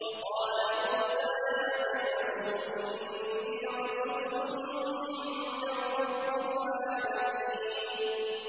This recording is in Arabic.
وَقَالَ مُوسَىٰ يَا فِرْعَوْنُ إِنِّي رَسُولٌ مِّن رَّبِّ الْعَالَمِينَ